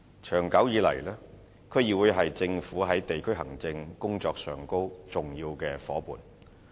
長久以來，區議會是政府在地區行政工作上的重要夥伴。